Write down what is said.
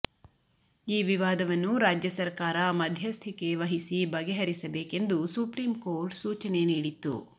ಈ ವಿವಾದವನ್ನು ರಾಜ್ಯ ಸರಕಾರ ಮಧ್ಯಸ್ಥಿಕೆ ವಹಿಸಿ ಬಗೆಹರಿಸಬೇಕೆಂದು ಸುಪ್ರೀಂ ಕೋರ್ಟ್ ಸೂಚನೆ ನೀಡಿತ್ತು